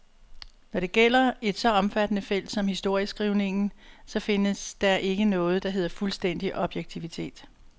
Når det gælder et så omfattende felt som historieskrivningen, så findes der ikke noget, der hedder fuldstændig objektivitet.